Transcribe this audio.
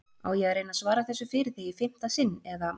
Á ég að reyna að svara þessu fyrir þig í fimmta sinn eða?